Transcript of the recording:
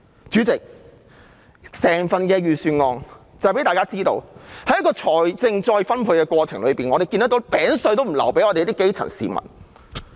主席，整份預算案讓大家看到在財政再分配的過程中，政府連"餅碎"也不留給基層市民。